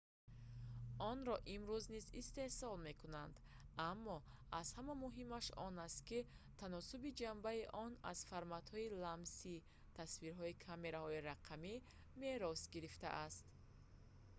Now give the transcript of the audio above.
онро имрӯз низ истеҳсол мекунанд аммо аз ҳама муҳимаш он аст ки таносуби ҷанбаи он аз форматҳои ламсии тасвирҳои камераҳои рақамӣ мерос гирифтааст